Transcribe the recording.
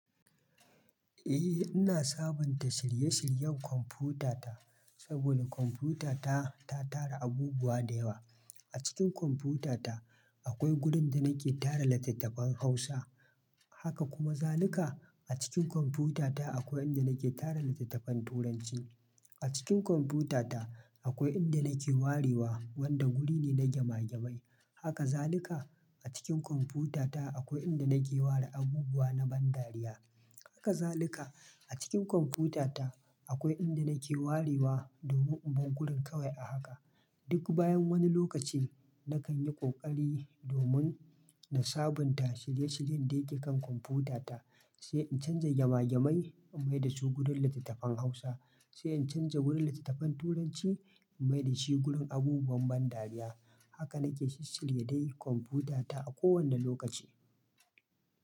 Eh, ina sabunta shirye-shiryen kwamfutata saboda kwamfutata ta tara abubuwa da yawa. A cikin kwamfutata akwai wurin da nake tara littattafan Hausa. Haka kuma zaluka a cikin kwamfutata akwai inda nake tara littattafan Turanci. A cikin kwamfutata akwai inda nake warewa wanda guri ne na gema gemai. Haka zaluka a cikin kwamfutata akwai inda nake ware abubuwa na ban dariya. Haka zaluka a cikin kwamfutata akwai inda nake warewa domin in bar gurin kawai a haka. Duk bayan wani lokaci nakan yi ƙoƙari domin na sabunta shirye-shiryen da yake kan kwamfutata, sai in canza gema gemai in maida su wurin littattafan Hausa, sai in canza wurin littattafan Turanci in maida shi wurin abubuwan ban dariya. Haka nake shishshirye dai kwamfutata a kowane lokaci.